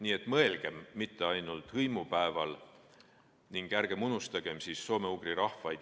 Nii et mõelgem sellele mitte ainult hõimupäeval ning ärgem unustagem soome-ugri rahvaid.